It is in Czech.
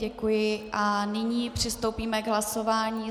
Děkuji a nyní přistoupíme k hlasování.